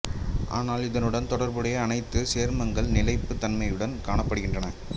ஆனால் இதனுடன் தொடர்புடைய அணைவுச் சேர்மங்கள் நிலைப்புத் தன்மையுடன் காணப்படுகின்றன